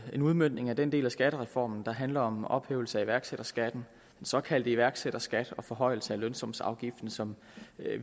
en udmøntning af den del af skattereformen der handler om ophævelse af iværksætterskatten den såkaldte iværksætterskat og forhøjelse af lønsumsafgiften som